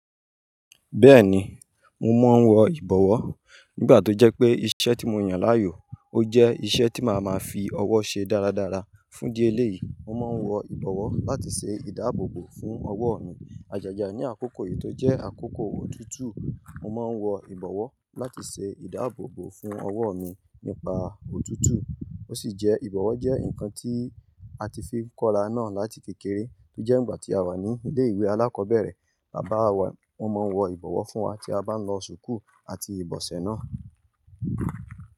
Bẹ́ẹ̀ni, mo máa ń wọ ìbọwọ́ nígbà tó jẹ́ pé iṣẹ́ tí mo yàn láàyò ó jẹ́ iṣẹ́ tí màá máa fi ọwọ́ ṣe dáradára fún idi eleyii Mo má ń wọ ìbọwọ́ láti ṣe ìdáàbòbò fún ọwọ́ mi. Àjájá ní àkókò yìí tó jẹ́ àkókò òtútù, mo máa ń wọ ìbọwọ́ láti ṣe ìdáàbòbò fún ọwọ́ mi nípa òtútù. Ó sì jẹ́ ìbọwọ́ jẹ́ nǹkan tí a ti fi ń kọ́ra náà láti kékeré tó jẹ́ ìgbà tí a wà ní ilé-ìwé alákọ̀ọ́bẹ̀rẹ̀. Bàbá wa wọ́n máa ń wọ ìbọwọ́ fún wa tí a bá ń lọ sùkúu àti ìbọ̀sẹ̀ náà.